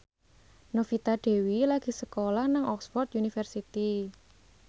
Novita Dewi lagi sekolah nang Oxford university